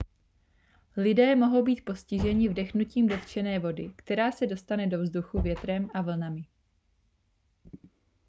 lidé mohou být postiženi vdechnutím dotčené vody která se dostane do vzduchu větrem a vlnami